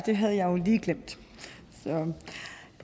det havde jeg jo lige glemt